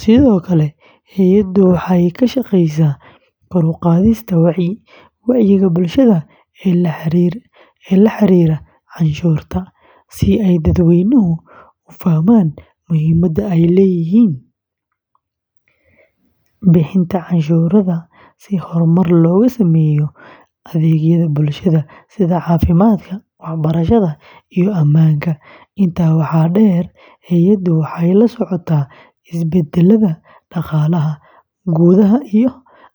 sidoo kale hay’addu waxay ka shaqeysaa kor u qaadista wacyiga bulshada ee la xiriira canshuurta, si ay dadweynuhu u fahmaan muhiimadda ay leedahay bixinta canshuurta si horumar loogu sameeyo adeegyada bulshada sida caafimaadka, waxbarashada, iyo ammaanka; intaa waxaa dheer, hay’addu waxay la socotaa isbeddellada dhaqaalaha gudaha iyo caalamka.